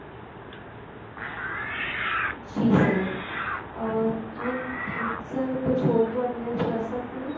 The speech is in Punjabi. ਜੀ sir um and um sir ਕੁਛ ਹੋਰ ਤੁਹਾਡੀ help ਕਰ ਸਕਦੀ ਹਾਂ